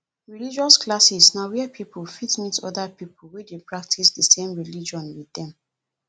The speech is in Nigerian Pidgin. religious classes na where person fit meet oda pipo wey dey practice di same religion with dem